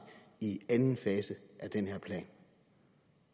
i anden fase af den her plan